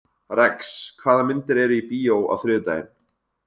Rex, hvaða myndir eru í bíó á þriðjudaginn?